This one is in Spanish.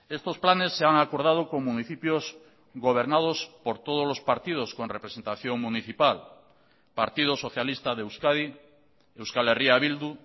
estos planes se han acordado con municipios gobernados por todos los partidos con representación municipal partido socialista de euskadi euskal herria bildu